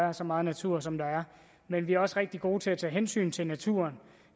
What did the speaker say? er så meget natur som der er men vi er også rigtig gode til at tage hensyn til naturen